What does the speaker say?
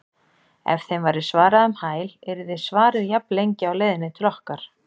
Ef þeim væri svarað um hæl yrði svarið jafnlengi á leiðinni til okkar.